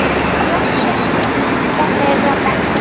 Blessuð sé minning þeirra beggja.